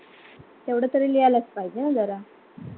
तेव्ड तरी लिहायलाच पाहिजे ना जरा